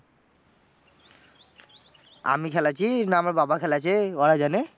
আমি খেলেছি না আমার বাবা খেলেছে, ওরা জানে?